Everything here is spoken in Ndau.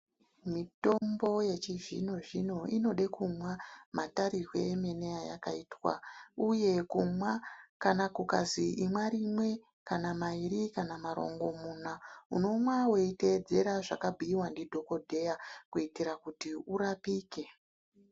Mitombo yechizvino-zvino inode kumwa matarirwe emene eyakaitwa. Uye kumwa, kana kukazi imwa rimwe kana mairi kana marongomuna unomwa weiteedzera zvakabhuiwa ndidhogodheya kuitira kuti urapike.